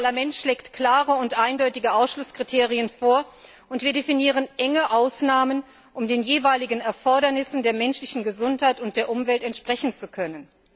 Das Parlament schlägt klare und eindeutige Ausschlusskriterien vor, und wir definieren enge Ausnahmen, um den jeweiligen Erfordernissen der menschlichen Gesundheit und der Umwelt entsprechen zu können.